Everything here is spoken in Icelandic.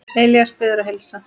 Elías biður að heilsa.